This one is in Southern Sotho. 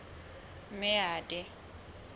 meade